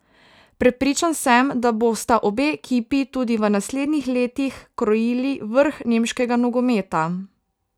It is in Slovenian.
Prepričan sem, da bosta obe ekipi tudi v naslednjih letih krojili vrh nemškega nogometa.